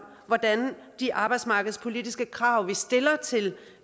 hvordan de arbejdsmarkedspolitiske krav vi stiller til